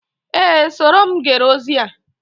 Ee, soro m gere ozi a